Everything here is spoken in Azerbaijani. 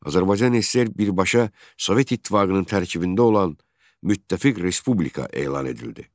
Azərbaycan SSR birbaşa Sovet İttifaqının tərkibində olan müttəfiq respublika elan edildi.